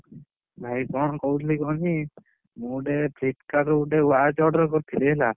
ଭାଇ କଣ କହୁଥିଲି କୁହନୀ? ମୁଁ ଗୋଟେ Flipkart ରୁ ଗୋଟେ watch order କରିଥିଲି ହେଲା।